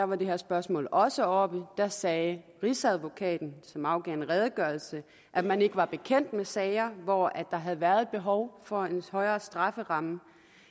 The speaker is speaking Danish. var det her spørgsmål også oppe og da sagde rigsadvokaten som afgav en redegørelse at man ikke var bekendt med sager hvor der havde været behov for en højere strafferamme